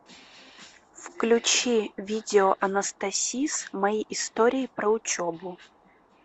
включи видео анастасис мои истории про учебу